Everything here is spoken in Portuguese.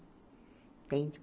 Entende?